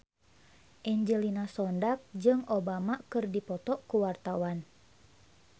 Angelina Sondakh jeung Obama keur dipoto ku wartawan